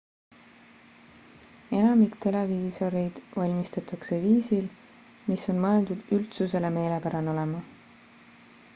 enamik televiisoreid valmistatakse viisil mis on mõeldud üldsusele meelepärane olema